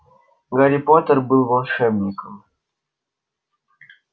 гарри поттер был волшебником